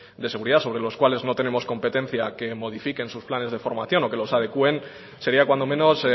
de seguridad sobre los cuales no tenemos competencia que modifiquen sus planes de formación o que los adecúen sería cuando menos